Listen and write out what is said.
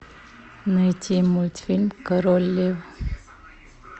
найти мультфильм король лев